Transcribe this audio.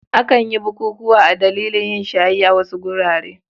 Akan yi bukukuwa a dalilin yin shayi a wasu wurare.